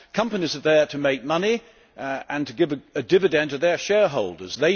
Companies are there to make money and to give a dividend to their shareholders.